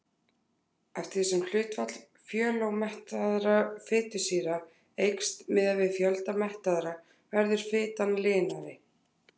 Eftir því sem hlutfall fjölómettaðra fitusýra eykst miðað við fjölda mettaðra verður fitan linari.